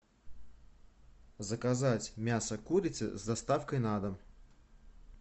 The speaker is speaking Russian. заказать мясо курицы с доставкой на дом